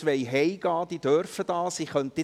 Wer nun gehen möchte, darf dies tun.